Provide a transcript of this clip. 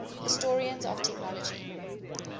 historians of technology